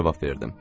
Cavab verdim.